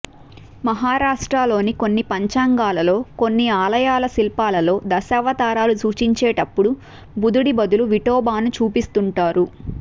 మహారాష్ట్రలోని కొన్ని పంచాంగాలలో కొన్ని ఆలయాల శిల్పాలలో దశావతారాలు సూచించేటపుడు బుద్ధుడి బదులు విఠోబాను చూపిస్తుంటారు